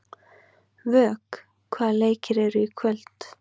Vök, hvaða leikir eru í kvöld?